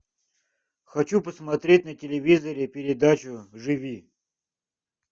хочу посмотреть на телевизоре передачу живи